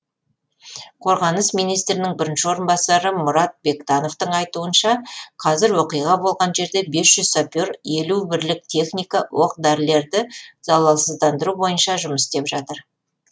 қорғаныс министрінің бірінші орынбасары мұрат бектановтың айтуынша қазір оқиға болған жерде бес жүз сапер елу бірлік техника оқ дәрілерді залалсыздандыру бойынша жұмыс істеп жатыр